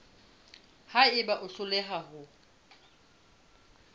ha eba o hloleha ho